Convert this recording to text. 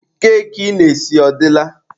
Keki ị na-esi ọ dịla?